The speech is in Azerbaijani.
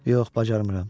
Yox, bacarmıram.